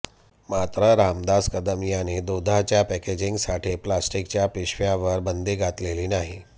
मात्र रामदास कदम यांनी दुधाच्या पॅकेजिंगसाठी प्लास्टिकच्या पिशव्यांवर बंदी घातलेली नाही